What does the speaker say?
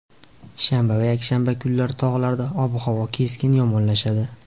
Shanba va yakshanba kunlari tog‘larda ob-havo keskin yomonlashadi.